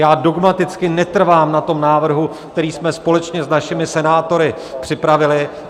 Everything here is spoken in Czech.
Já dogmaticky netrvám na tom návrhu, který jsme společně s našimi senátory připravili.